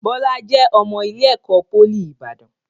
Bọlá jẹ́ ọmọ ilé ẹ̀kọ́ pólì Ibadan.